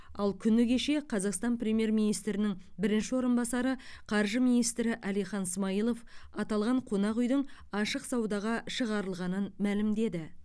ал күні кеше қазақстан премьер министрінің бірінші орынбасары қаржы министрі әлихан смайылов аталған қонақ үйдің ашық саудаға шығарылғанын мәлімдеді